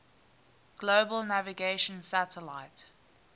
global navigation satellite